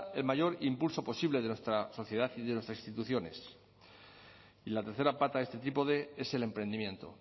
el mayor impulso posible de nuestra sociedad y de nuestras instituciones y la tercera pata de este trípode es el emprendimiento